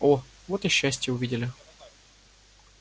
о вот о счастье увидели